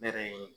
Ne yɛrɛ ye